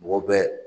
Mɔgɔ bɛɛ